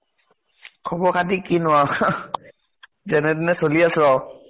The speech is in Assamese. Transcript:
খবৰ খাতি কিনো আৰু । যেনে তেনে চলি আছো আৰু ।